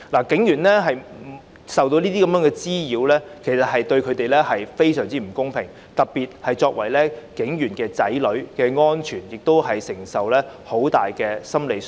警員受到這些滋擾，對他們而言非常不公平，特別是他們亦因擔心子女安全而承受很大的心理傷害。